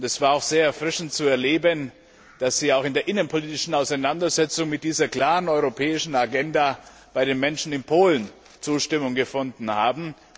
Es war auch sehr erfrischend zu erleben, dass Sie auch in der innenpolitischen Auseinandersetzung mit dieser klaren europäischen Agenda bei den Menschen in Polen Zustimmung gefunden haben.